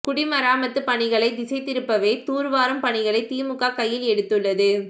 குடிமராமத்து பணிகளை திசை திருப்பவே தூர்வாரும் பணிகளை திமுக கையில் எடுத்துள்ளது